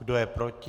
Kdo je proti?